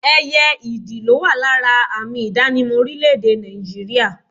Ẹyẹ ìdì ló wà lára àmì ìdánimọ̀ orílẹ̀ èdè Nàìjíríà